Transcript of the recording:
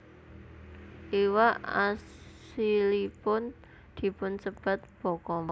Iwak asilipun dipunsebat bokkom